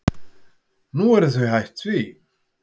Nú eru þau hætt því.